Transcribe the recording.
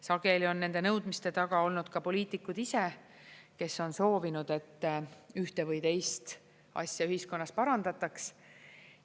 Sageli on nende nõudmiste taga olnud ka poliitikud ise, kes on soovinud, et ühte või teist asja ühiskonnas parandataks.